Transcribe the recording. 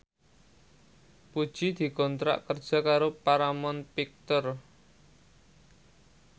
Puji dikontrak kerja karo Paramount Picture